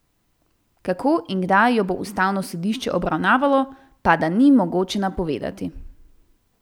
Kako in kdaj jo bo ustavno sodišče obravnavalo, pa da ni mogoče napovedati.